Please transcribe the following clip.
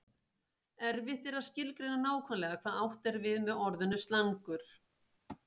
Erfitt er að skilgreina nákvæmlega hvað átt er við með orðinu slangur.